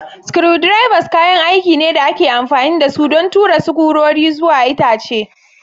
Screwdrivers kayan aiki ne da ake amfani da su don tura sukurori zuwa itace.